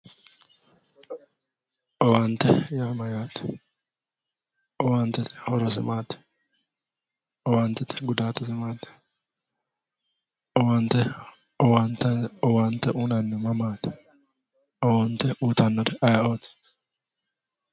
Owaante Yaa mayaate owaantette horrosse maati owaantette gudaatesse maati owaante uyinannihu mammaati owaante uyiitaawori ayi'otti